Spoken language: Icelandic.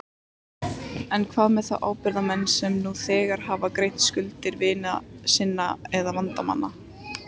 En hvað með þá ábyrgðarmenn sem nú þegar hafa greitt skuldir vina sinna eða vandamann?